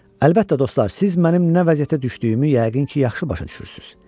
Əlbəttə dostlar, siz mənim nə vəziyyətə düşdüyümü yəqin ki, yaxşı başa düşürsünüz.